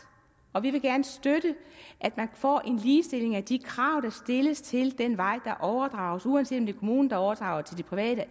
og vi vil gerne støtte at man får ligestilling af de krav der stilles til den vej der overdrages uanset om det er kommunen der overdrager til de private